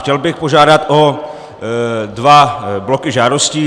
Chtěl bych požádat o dva bloky žádostí.